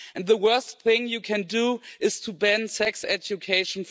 The worst thing you can do is to ban sex education.